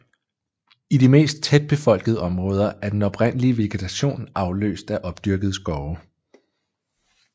I de mest tætbefolkede områder er den oprindelige vegetation afløst af opdyrkede skove